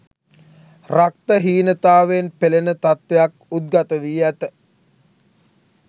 රක්ත හීනතාවයෙන් පෙළෙන තත්ත්වයක් උද්ගතවී ඇත